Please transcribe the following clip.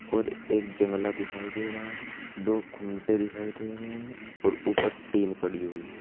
और एक जंगला दिखाई दे रहा है.। दो खूंटे दिखाई दे रहे हैं और ऊपर टीन पड़ी हुई है।